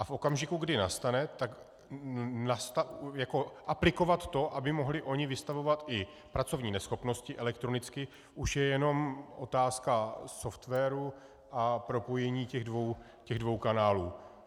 A v okamžiku, kdy nastane, tak aplikovat to, aby oni mohli vystavovat i pracovní neschopnosti elektronicky, už je jenom otázka softwaru a propojení těch dvou kanálů.